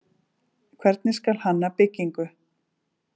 Hvernig skal hanna byggingu?